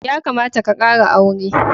Ya kamata ka kara aure.